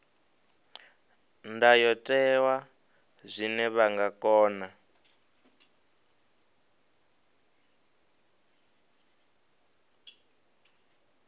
ndayotewa zwine vha nga kona